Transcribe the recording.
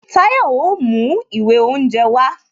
Tayo o mú ìwé oúnje wá